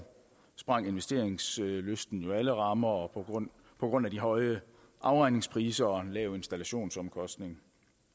sprængte investeringslysten jo alle rammer på grund på grund af de høje afregningspriser og en lav installationsomkostning